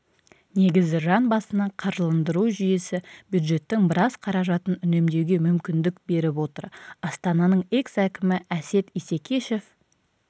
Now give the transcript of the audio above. негізі жан басына қаржыландыру жүйесі бюджеттің біраз қаражатын үнемдеуге мүмкіндік беріп отыр астананың экс-әкімі әсет исекешев